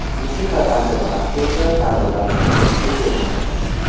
Musiqa qancha baland bo‘lsa, pardalar shuncha kuchli tebranadi.